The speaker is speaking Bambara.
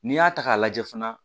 N'i y'a ta k'a lajɛ fana